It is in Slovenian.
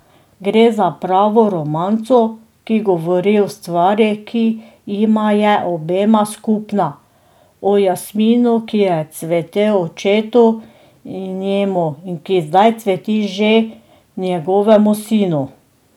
Gre za pravo romanco, ki govori o stvari, ki jima je obema skupna, o jasminu, ki je cvetel očetu in njemu in ki zdaj cveti že njegovemu sinu.